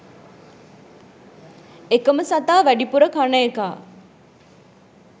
එකම සතා වැඩිපුර කන එකා